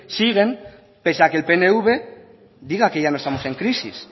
siguen pese a que el pnv diga que ya no estamos en crisis